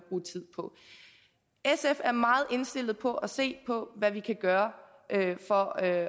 tid på sf er meget indstillet på at se hvad vi kan gøre for at